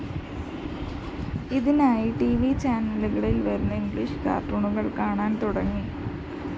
ഇതിനായി T V ചാനലുകളില്‍ വന്നിരുന്ന ഇംഗ്ലീഷ് കാര്‍ട്ടൂണുകള്‍ കാണാന്‍ തുടങ്ങി